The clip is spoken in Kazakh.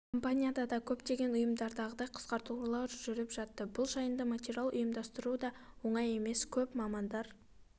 компанияда да көптегн ұйымдардағыдай қысқартулар жүріп жатты бұл жайында материал ұйымдастыру да оңай емес көп мамандар